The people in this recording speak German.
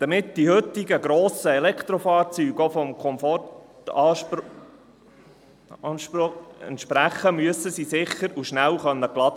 Damit die heutigen grossen Elektrofahrzeuge auch dem Komfortanspruch entsprechen, müssen sie sicher und schnell geladen werden können.